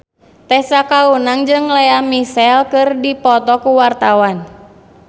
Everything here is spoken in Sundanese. Tessa Kaunang jeung Lea Michele keur dipoto ku wartawan